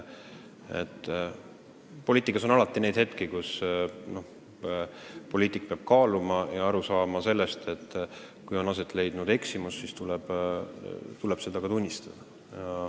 Poliitikas on ikka hetki, kui poliitik peab aru saama sellest, et ta on eksinud, ja siis tuleb seda ka tunnistada.